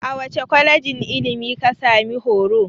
A wace kwalejin ilimi ka sami horo?